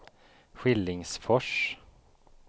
Skillingsfors